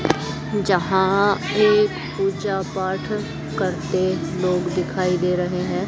जहां एक पूजा पाठ करते लोग दिखाई दे रहे हैं।